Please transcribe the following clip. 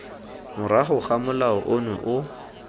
morago ga molao ono o